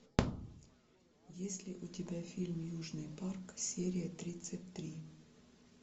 есть ли у тебя фильм южный парк серия тридцать три